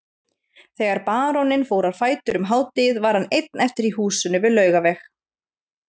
Þegar baróninn fór á fætur um hádegið var hann einn eftir í húsinu við Laugaveg.